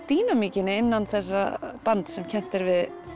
dýnamíkinni innan þessa bands sem kennt er við